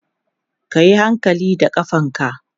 kayi hankali da ƙafanka!